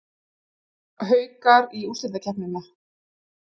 Haukar í úrslitakeppnina